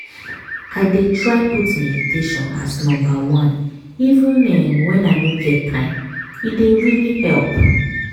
i dey try put meditation as number oneeven um….when i no get time - e dey really help